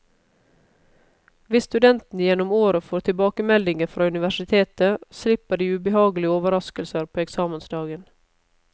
Hvis studentene gjennom året får tilbakemeldinger fra universitetet, slipper de ubehagelige overrasker på eksamensdagen.